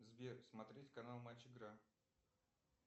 сбер смотреть канал матч игра